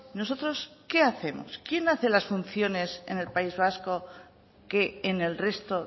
nosotros qué hacemos quién hace las funciones en el país vasco que en el resto